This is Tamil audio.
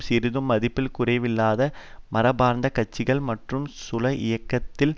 சிறிதும் மதிப்பில் குறைவில்லாத மரபார்ந்த கட்சிகள் மற்றும் குழப்ப இயக்கத்தில்